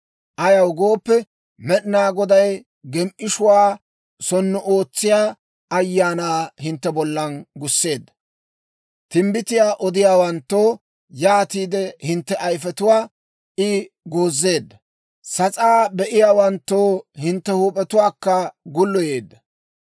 Ayaw gooppe, Med'inaa Goday gem"ishshuwaa sonnu ootsiyaa ayaanaa hintte bollan gusseedda. Timbbitiyaa odiyaawanttoo, yaatiide hintte ayifetuwaa I goozeedda. Sas'aa be'iyaawanttoo, hintte huup'etuwaakka gulloyeedda.